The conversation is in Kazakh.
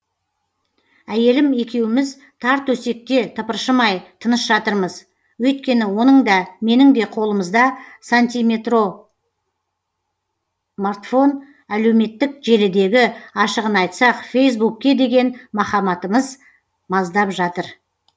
әйелім екеуміз тар төсекте тыпыршымай тыныш жатырмыз өйткені оның да менің де қолымызда сантиметрартфон әлеуметтік желідегі ашығын айтсақ фейсбукке деген махаббатымыз маздап жатыр